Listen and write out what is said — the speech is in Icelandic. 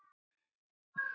Ertu ekki hálfur skoti?